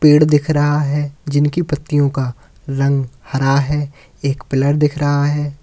पेड़ दिख रहा है जिनकी पत्तियों का रंग हरा है एक पिलर दिख रहा है।